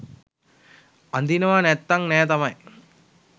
අඳිනව නැත්තං නෑ තමයි